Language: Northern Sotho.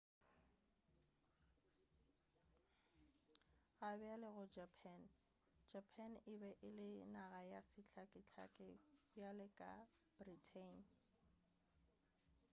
gabjale go japan japan e be ele naga ya sehlakahlake bjalo ka britain